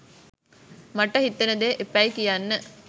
මට හිතෙන දේ එපැයි කියන්න.